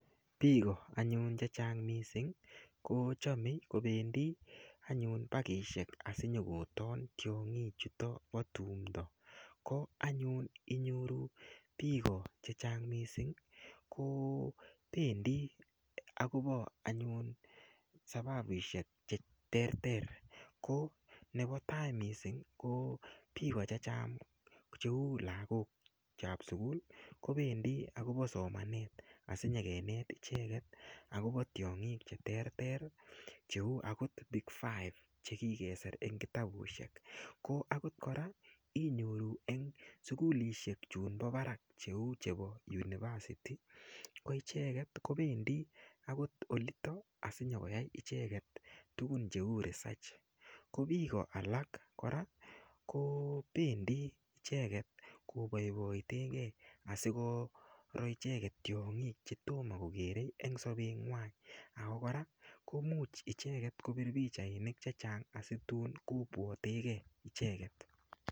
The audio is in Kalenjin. Biiko anyun che chang mising kochemei kopendi anyun pakishek asinyokoton tiong'ik chuto po tumdo ko anyun inyoru biiko che chang mising ko pendi akopo anyun sababushek che terter ko nepo tai mising ko biiko che chang ko cheu lakok ap sukul kopendi akopo somanet asinyekenet icheket akopo tiong'ik che terter cheu akot big five chekikeser eng kitabushek ko akot kora inyoru eng sukulishek chun po barak cheu chebo university koicheket kopendi akot olitok asinyokoyai icheket tukun cheu research ko biiko alak kora ko pendi icheket kopoipoitekei asikoro icheket tiong'ik chetomo kokerei eng sobetng'wai ako kora komuch icheket kopir pichainik che chang asikotun kopwatekei icheket